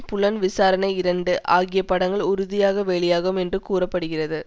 புலன் விசாரணைஇரண்டு ஆகிய படங்கள் உறுதியாக வெளியாகும் என்று கூற படுகிறது